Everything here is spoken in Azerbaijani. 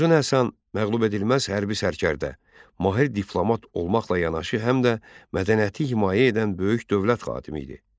Uzun Həsən məğlubedilməz hərbi sərkərdə, mahir diplomat olmaqla yanaşı, həm də mədəniyyəti himayə edən böyük dövlət xadimi idi.